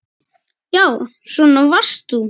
Já, svona varst þú.